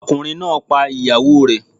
Ọkùnrin náà pa ìyàwó rẹ̀.